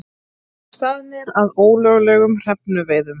Staðnir að ólöglegum hrefnuveiðum